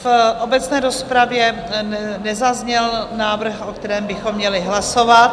V obecné rozpravě nezazněl návrh, o kterém bychom měli hlasovat.